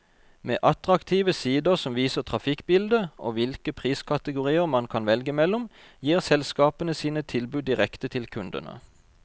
Med attraktive sider som viser trafikkbildet, og hvilke priskategorier man kan velge mellom, gir selskapene sine tilbud direkte til kundene.